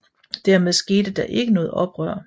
Dermed skete der ikke noget oprør